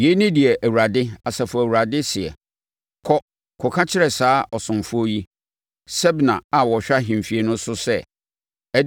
Yei ne deɛ Awurade, Asafo Awurade seɛ, “Kɔ, kɔka kyerɛ saa ɔsomfoɔ yi, Sebna a ɔhwɛ ahemfie no so sɛ,